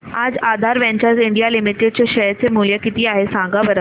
आज Aadhaar ventures India limited चे share चे मूल्य किती आहे सांगा बरं